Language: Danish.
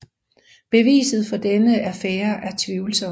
Beviset for denne affære er tvivlsomt